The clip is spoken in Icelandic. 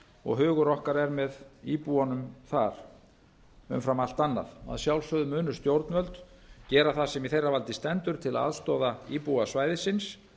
og hugur okkar er með íbúunum þar umfram allt annað að sjálfsögðu munu stjórnvöld gera það sem í þeirra valdi stendur til að aðstoða íbúa svæðisins